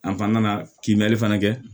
an nana kimɛli fana kɛ